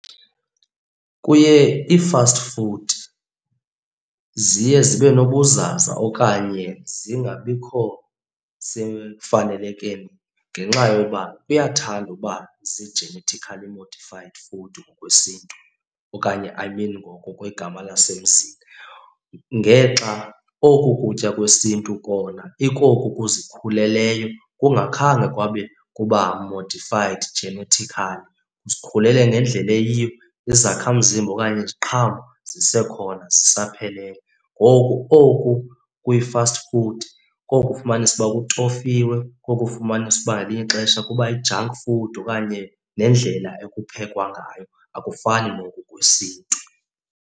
Kuye ii-fast food, ziye zibe nobuzaza okanye zingabikho semfanelekweni ngenxa yoba kuyathanda ukuba zii-genetically modified food ngokwesiNtu okanye I mean ngokwegama lasemzini. Ngexa oku kutya kwesiNtu kona ikoku kuzikhuleleyo kungakhange kwabe kuba modified genetically. Zizikhulele ngendlela eyiyo, izakhamzimba okanye iziqhamo zisekhona zisaphelele. Ngoku oku kwii-fast food koku ufumanisa uba kutofiwe, koku ufumanisa uba ngelinye ixesha kuba yi-junk food okanye nendlela ekuphekwangayo akufani noku kwesiNtu.